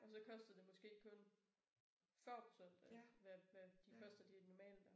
Og så kostede det måske kun 40 procent af hvad hvad de koster de normale der